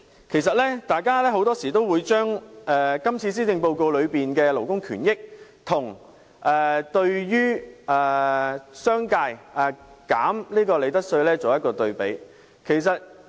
其實，大家很多時也會把今次施政報告中的勞工權益與降低商界利得稅率的措施作對比。